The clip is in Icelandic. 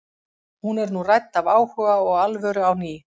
Hún er nú rædd af áhuga og alvöru á ný.